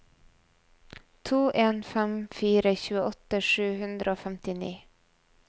to en fem fire tjueåtte sju hundre og femtini